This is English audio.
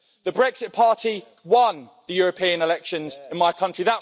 The Brexit Party won the European elections in my country.